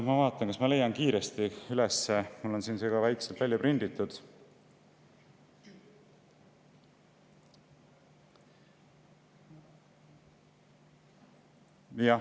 Ma vaatan, kas ma leian selle kiiresti üles, mul on see väikselt ka välja prinditud.